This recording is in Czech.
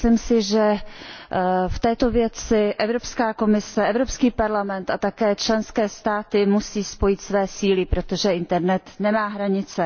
Myslím si, že v této věci Evropská komise, Evropský parlament a také členské státy musí spojit své síly, protože internet nemá hranice.